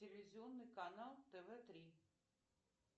телевизионный канал тв три